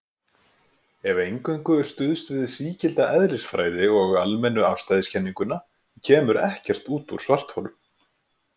Ef eingöngu er stuðst við sígilda eðlisfræði og almennu afstæðiskenninguna kemur ekkert út úr svartholum.